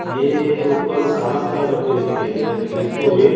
ये ऊपर में कालम खड़ा करते हुए दिखाई दे रहा है घेरते हुए।